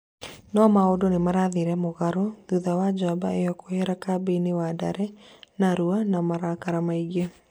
no maũndũ nĩmarathire mugarũ, thutha wa njamba ĩyo kwehera kambĩ-ini wandare narũa na marakara maingĩ